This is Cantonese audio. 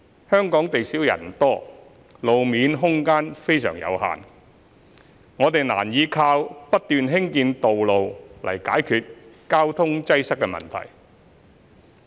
香港地少人多，路面空間非常有限，我們難以靠不斷興建道路來解決交通擠塞問題。